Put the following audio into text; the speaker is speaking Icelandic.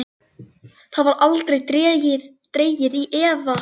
Það var aldrei dregið í efa.